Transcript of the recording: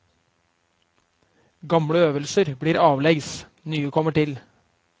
Gamle øvelser blir avlegs, nye kommer til.